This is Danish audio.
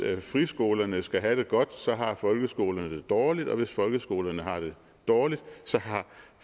friskolerne skal have det godt så har folkeskolerne det dårligt og hvis folkeskolerne har det dårligt så har